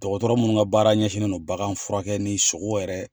Dɔgɔtɔrɔ minnu ka baara ɲɛsinnen don bagan furakɛ ni sogo yɛrɛ